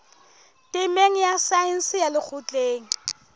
temeng ya saense ya lekgotleng